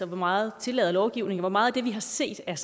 meget tillader lovgivningen hvor meget af det vi har set er